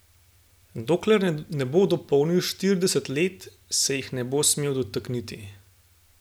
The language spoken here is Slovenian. Dokler ne bo dopolnil štirideset let, se jih ne bo smel dotakniti.